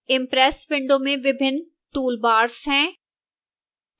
impress window में विभिन्न various toolbars हैं